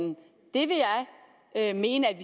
vil jeg mene at